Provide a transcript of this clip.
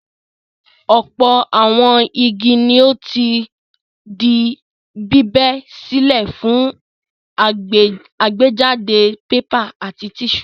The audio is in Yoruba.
Ọ̀pọ̀ àwọn igi ni ó ti di bíbẹ́ sílẹ̀ fún àgbéjáde pépà àti tíṣù.